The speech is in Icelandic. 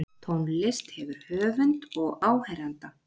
tónlist hefur höfund og áheyranda